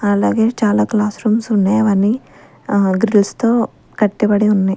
అలాగే చాలా classrooms ఉన్నేవని గ్రిల్స్ తో కట్టబడి ఉన్నాయి.